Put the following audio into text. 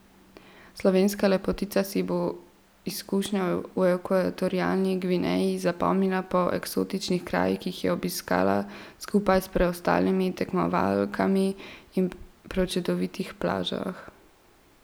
Slovenska lepotica si bo izkušnjo v Ekvatorialni Gvineji zapomnila po eksotičnih krajih, ki jih je obiskala skupaj s preostalimi tekmovalkami, in prečudovitih plažah.